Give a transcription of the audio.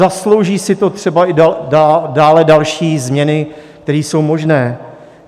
Zaslouží si to třeba i dále další změny, které jsou možné.